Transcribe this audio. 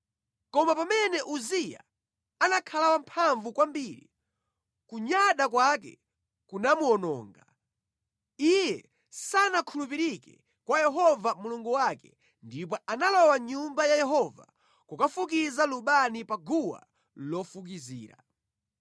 Koma pamene Uziya anakhala wamphamvu kwambiri, kunyada kwake kunamuwononga. Iye sanakhulupirike kwa Yehova Mulungu wake, ndipo analowa mʼNyumba ya Yehova kukafukiza lubani pa guwa lofukizira.